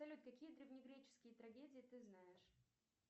салют какие древнегреческие трагедии ты знаешь